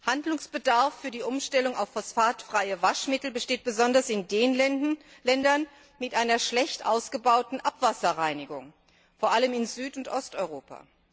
Handlungsbedarf für die Umstellung auf phosphatfreie Waschmittel besteht besonders in den Ländern mit einer schlecht ausgebauten Abwasserreinigung vor allem in Süd und Osteuropa.